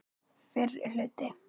Fyrri hluti.